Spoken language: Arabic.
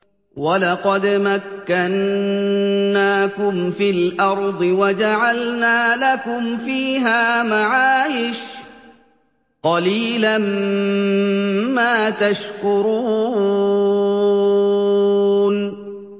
وَلَقَدْ مَكَّنَّاكُمْ فِي الْأَرْضِ وَجَعَلْنَا لَكُمْ فِيهَا مَعَايِشَ ۗ قَلِيلًا مَّا تَشْكُرُونَ